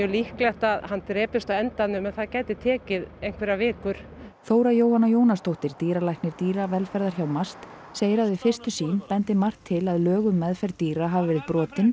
líklegt að hann drepist á endanum en það gæti tekið einhverjar vikur Þóra Jóhanna Jónasdóttir dýralæknir dýravelferðar hjá MAST segir að við fyrstu sýn bendi margt til að lög um meðferð dýra hafi verið brotin